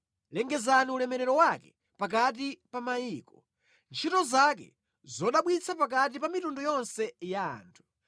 Lengezani ulemerero wake pakati pa mayiko, ntchito zake zodabwitsa pakati pa mitundu yonse ya anthu.